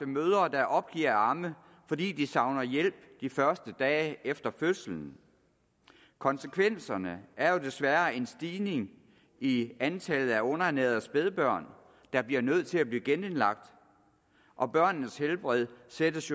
mødre der opgiver at amme fordi de savner hjælp de første dage efter fødslen konsekvenserne er jo desværre en stigning i antallet af underernærede spædbørn der bliver nødt til at blive genindlagt og børnenes helbred sættes